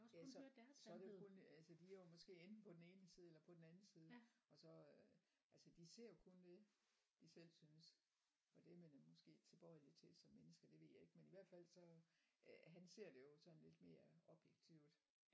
Ja så så er det jo kun altså de er jo måske enten på den ene side eller på den anden side og så øh altså de ser jo kun det de selv synes og det er man måske tilbøjelig til som menneske det ved jeg ikke men i hvert fald så øh han ser det jo sådan lidt mere objektivt